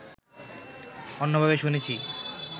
অন্যভাবে শুনেছি